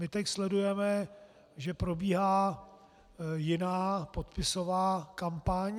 My teď sledujeme, že probíhá jiná podpisová kampaň.